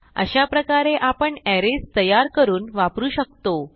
अशाप्रकारे आपण अरेज तयार करून वापरू शकतो